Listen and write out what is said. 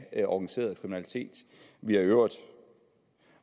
af organiseret kriminalitet vi har i øvrigt